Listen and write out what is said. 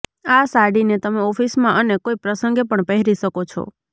આ સાડીને તમે ઓફીસમાં અને કોઈ પ્રસંગે પણ પહેરી શકો છો